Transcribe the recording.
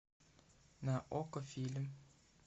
на окко фильм